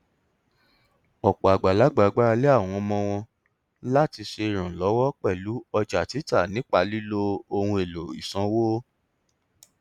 ọpọ àgbàlagbà gbára lé àwọn ọmọ wọn láti ṣe ìrànlọwọ pẹlú ọjà títà nípa lílo ohun èlò ìsanwó